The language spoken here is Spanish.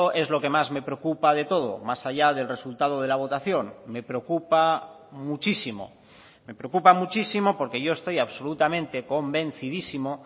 es lo que más me preocupa de todo más allá del resultado de la votación me preocupa muchísimo me preocupa muchísimo porque yo estoy absolutamente convencidísimo